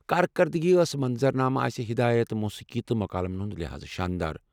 كاركردگی ٲس منظر نامہٕ آسہِ، ہدایت ، موسیقی تہٕ مكالمن ہُند لحاظہٕ شاندار ۔